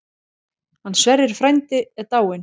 Hann Sverrir frændi er dáinn.